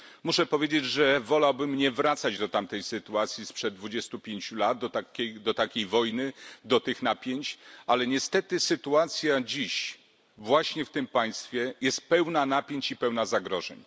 Muszę powiedzieć, że wolałbym nie wracać do tamtej sytuacji sprzed 25 lat, do takiej wojny, do tych napięć, ale niestety sytuacja dziś właśnie w tym państwie jest pełna napięć i pełna zagrożeń.